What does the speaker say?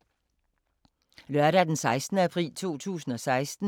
Lørdag d. 16. april 2016